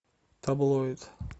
таблоид